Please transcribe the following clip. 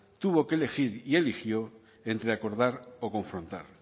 tuvo que elegir y eligió entre acordar o confrontar